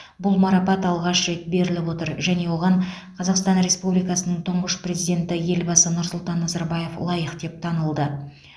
бұл марапат алғаш рет беріліп отыр және оған қазақстан республикасының тұңғыш президенті елбасы нұрсұлтан назарбаев лайық деп танылды